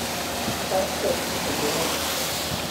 langstroth bende geng'o kute.